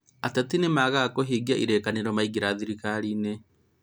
Ateti nĩmaagaga kũhingia ĩrĩkanĩro maingĩra thirikarinĩ?